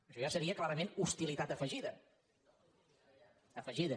això ja seria clarament hostilitat afegida afegida